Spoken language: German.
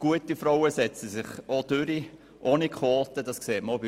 Gute Frauen setzen sich auch ohne Quoten durch.